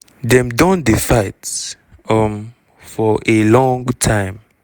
dem don dey fight um for a long time.